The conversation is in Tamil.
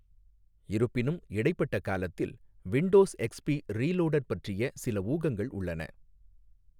இருப்பினும், இடைப்பட்ட காலத்தில் 'விண்டோஸ் எக்ஸ்பி ரீலோடட்' பற்றிய சில ஊகங்கள் உள்ளன.